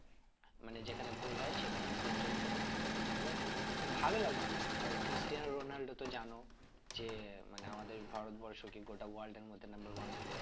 মানে যেখানে goal হয়ে সেখান পর্যন্ত এবং কি ভালো লাগে অনেক আর ক্রিস্টিয়ান রোনালদো তো জানো যে মানে আমাদের ভারত বর্ষ কে গোটা world এর মধ্যে number one player